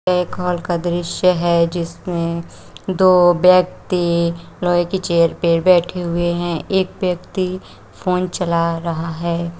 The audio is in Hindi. ए एक हॉल का दृश्य है जिसमें दो व्यक्ति लोहे की चेयर पे बैठे हुए है एक व्यक्ति फोन चला रहा है।